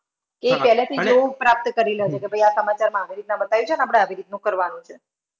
એ પહેલેથી જ એવુ પ્રાપ્ત કરી લેશે કે ભાઈ આ સમાચારમાં આવી રીતના બતાવ્યું છે અને આપડે આવી રીતનું કરવાનું છે.